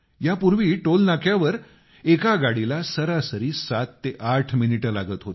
यापूर्वी आपल्या टोलनाक्यांवर एका गाडीला सरासरी सात ते आठ मिनिटं लागत होती